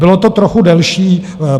Bylo to trochu delší.